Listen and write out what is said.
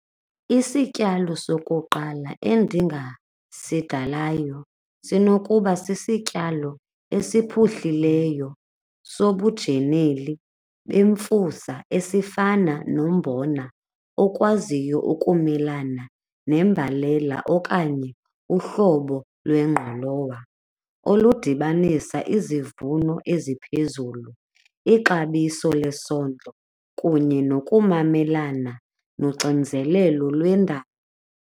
Isityalo sokuqala endingasidalayo sinokuba sisityalo esiphuhlileyo sobujeneli bemfusa esifana nombona okwaziyo ukumelana nembalela okanye uhlobo lwengqolowa oludibanisa izivuno eziphezulu, ixabiso lesondlo kunye nokumamelana noxinzelelo lwendalo.